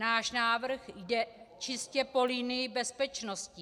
Náš návrh jde čistě po linii bezpečnosti.